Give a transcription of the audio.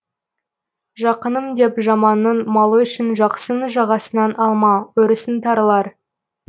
жақыным деп жаманның малы үшін жақсының жағасынан алма өрісің тарылар